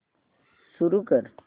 सुरू कर